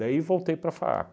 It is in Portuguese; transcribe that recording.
voltei para a FAAP.